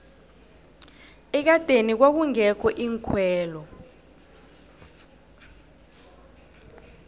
ekadeni kwakungekho iinkhwelo